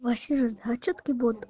васе надо чётки